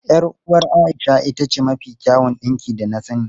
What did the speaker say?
Yar uwar Aisha ita ce mafi kyawun dinki da na sani.